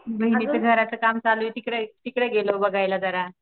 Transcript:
दीदींच्या घराचं काम चालू आहे तिकडे तिकडे गेलो बघायला जरा.